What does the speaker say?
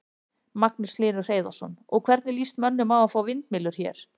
Magnús Hlynur Hreiðarsson: Og, hvernig lýst mönnum á að fá vindmyllur hér?